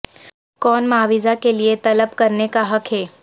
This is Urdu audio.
کون معاوضہ کے لئے طلب کرنے کا حق ہے